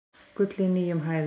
Gull í nýjum hæðum